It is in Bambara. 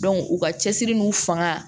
u ka cɛsiri n'u fanga